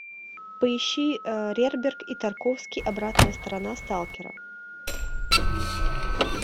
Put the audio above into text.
поищи рерберг и тарковский обратная сторона сталкера